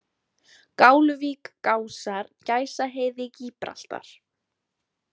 Gáluvík, Gásar, Gæsaheiði, Gíbraltar